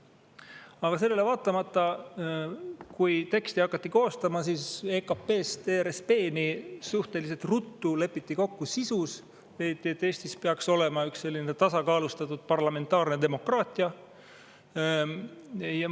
Aga sellele vaatamata, kui teksti hakati koostama, siis EKP‑st ERSP‑ni lepiti suhteliselt ruttu kokku sisus, leiti, et Eestis peaks olema üks tasakaalustatud parlamentaarne demokraatia.